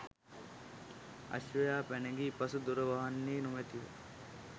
අශ්වයා පැනගිය පසු දොර වහන්නේ නොමැතිව